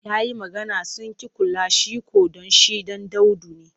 Ya yi magana sun ƙi kula shi ko don shi ɗan daudu ne.